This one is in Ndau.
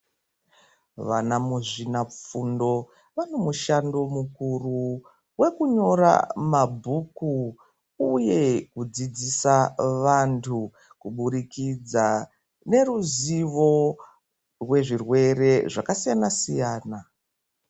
Vana muzvina fundo vane mushando mukuru, wekunyora mabhuku uye kudzidzisa vantu kuburikidza neruzivo wezvirwere zvakasiyana-siyana.